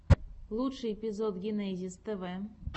лучший эпизод генезис тв